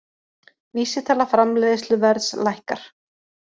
Vísitala framleiðsluverðs lækkar